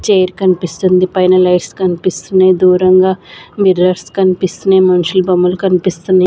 Chair కనిపిస్తుంది పైన lights కనిపిస్తున్నాయి దూరంగా మిర్రర్స్ కనిపిస్తున్నాయి మనుషుల బొమ్మలు కనిపిస్తున్నాయి.